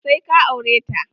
Sai ka aure ta!